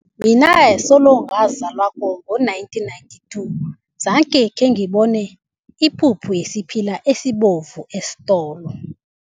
Minake soloko ngazolwako ngo-nineteen ninety-two, zange khengibone ipuphu yesiphila esibovu esitolo.